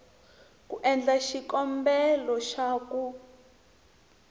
ku endla xikombelo xa ku